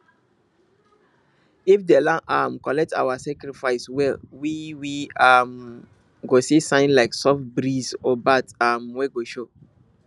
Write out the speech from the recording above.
if the land um collect our sacrifice well we we um go see sign like soft breeze or birds um wey go show